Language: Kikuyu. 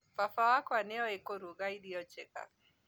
Baba wakwa nĩoe kũruga irio njega